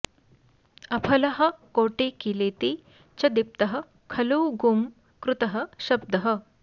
अफलः कोटिकिलीति च दीप्तः खलु गुं कृतः शब्दः